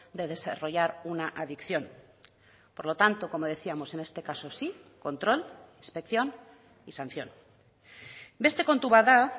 de desarrollar una adicción por lo tanto como decíamos en este caso sí control inspección y sanción beste kontu bat da